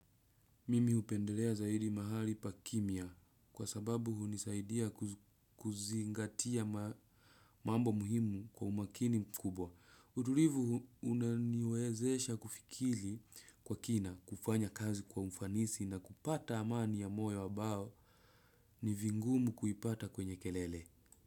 Mimi hupendelea zaidi mahali pa kimya kwa sababu hunisaidia kuzingatia mambo muhimu kwa umakini mkubwa. Utulivu unaniwezesha kufikiri kwa kina kufanya kazi kwa ufanisi na kupata amani ya moyo ambao ni vingumu kuipata kwenye kelele.